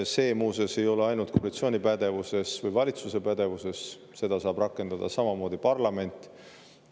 See, muuseas, ei ole ainult koalitsiooni või valitsuse pädevuses, seda saab samamoodi rakendada parlament.